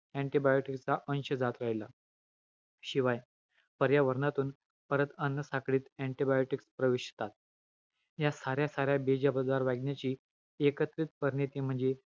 Antibiotic चा अंश जात राहिला. शिवाय, पर्यावरणातून परत अन्नसाखळीत antibiotic प्रवेशतात. या साऱ्या-साऱ्या वागण्याची एकत्रित परिणीती म्हणजे,